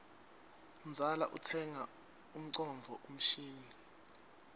mzala utsenga ngcondvo mshini